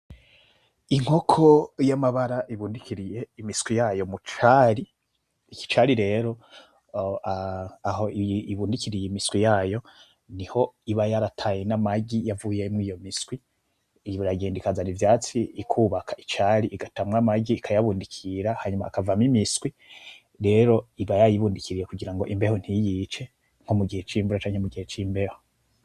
Inkoko y'amabara ibundikiriye imiswi yayo mu cari, iki cari rero, aho ibundikiriye imiswi yayo niho iba yarataye n'amagi yavuyemwo iyo miswi, iragenda ikazana ivyatsi ikubaka icari igatamwo amagi ikayabundikira hanyuma akavamwo imiswi, rero iba yayibundikiriye kugira ngo imbeho ntiyice nko mu gihe c'imbeho canke mugihe c'imbeho.